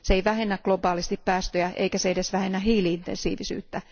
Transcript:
Se ei vähennä globaalisti päästöjä eikä se edes vähennä hiili intensiivisyyttä.